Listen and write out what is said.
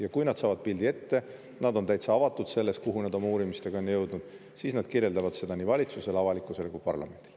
Ja kui nad saavad pildi ette – nad on täitsa avatud selles, kuhu nad oma uurimistega on jõudnud –, siis nad kirjeldavad seda nii valitsusele, avalikkusele kui ka parlamendile.